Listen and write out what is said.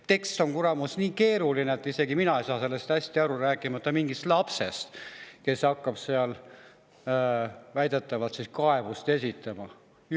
Tekst on, kuramus, nii keeruline, et isegi mina ei saa sellest hästi aru, rääkimata mingist lapsest, kes hakkab väidetavalt kaebust esitama.